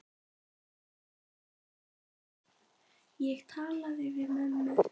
Ég talaði við mömmu.